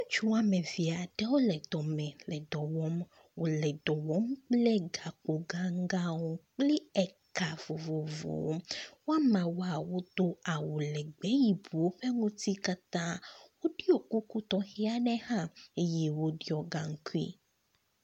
Ŋutsu wome eve aɖe wole dome le do wɔm, wole dɔm kple gakpo ganganwo, kpli eka vovowo, womewoa wodo awu legbe yi ko bu woƒe ŋuti katã, wodiɔ kuku tɔxɛ aɖewo hã wo diɔ gankui